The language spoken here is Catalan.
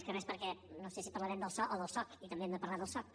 més que res perquè no sé si parlarem del so o del soc i també hem de parlar del soc